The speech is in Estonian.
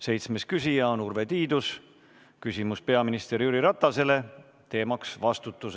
Seitsmes küsija on Urve Tiidus, küsimus on peaminister Jüri Ratasele, teemaks on vastutus.